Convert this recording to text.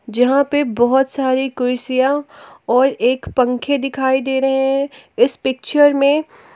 जहां पे बहुत सारी कुर्सियां और एक पंखे दिखाई दे रहे हैं इस पिक्चर में--